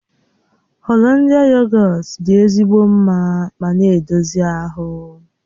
Holandịa yogọt dị ezigbo mma ma na-edozi ahụ.